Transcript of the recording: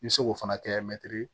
I bɛ se k'o fana kɛ mɛtiri